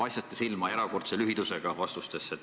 Paistate vastates silma erakordse lühidusega.